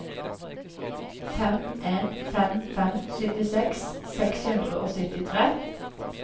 fem en fem fem syttiseks seks hundre og syttitre